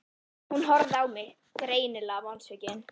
Hún horfði á mig, greinilega vonsvikin.